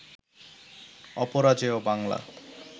Aparajeyo Bangla